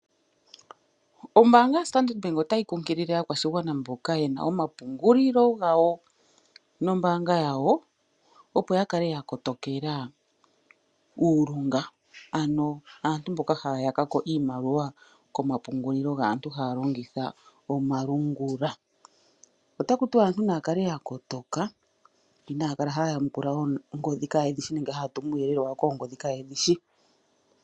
Ombaanga yoStandard Bank otayi kunkilile aakwashigwana mboka yena omapungulilo gawo nombaanga yawo opo ya kale ya kotokela uulunga ano aantu mboka haya yaka ko iimaliwa komapungulilo gaantu haya longitha omalungula. Otaku tiwa aantu naya kale ya kotoka inaya kala haya yamukula oongodhi kaaye dhi shi nenge haya tumu uuyelele wawo koongodhi kaaye dhi shi.